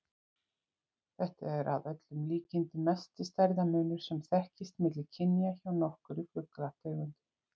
Þetta er að öllum líkindum mesti stærðarmunur sem þekkist milli kynja hjá nokkurri fuglategund.